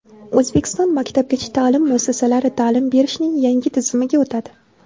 O‘zbekiston maktabgacha ta’lim muassasalari ta’lim berishning yangi tizimiga o‘tadi.